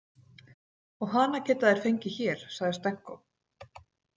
Og hana geta þeir fengið hér, sagði Stenko.